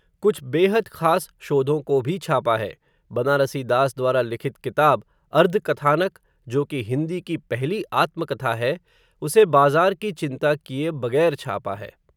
कुछ बेहद ख़ास शोधों को भी छापा है, बनारसीदास द्वारा लिखित किताब, अर्धकथानक, जो कि हिंदी की पहली आत्मकथा है, उसे बाज़ार की चिंता किए बग़ैर छापा है